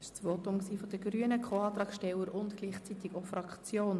Das war das Votum der Grünen als Co-Antragsteller und gleichzeitig auch für die Fraktion.